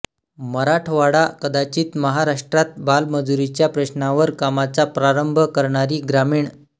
मराठवाडा कदाचित महाराष्ट्रात बालमजूरीच्या प्रश्नावर कामाचा प्रारंभ करणारी ग्रामीण